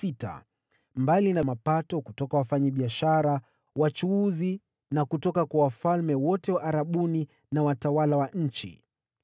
mbali na mapato kutoka kwa wafanyabiashara na wachuuzi, na kutoka kwa wafalme wote wa Kiarabu na watawala wa nchi.